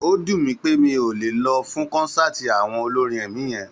Ó dùn mí pé n ò lè lọ fún kọ́nsáàti àwọn olórin ẹ̀mí yẹn